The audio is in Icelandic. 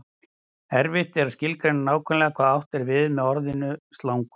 erfitt er að skilgreina nákvæmlega hvað átt er við með orðinu slangur